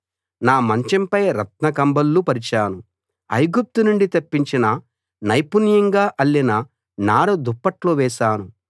నా మంచంపై రత్న కంబళ్ళు పరిచాను ఐగుప్తు నుండి తెప్పించిన నైపుణ్యంగా అల్లిన నార దుప్పట్లు వేశాను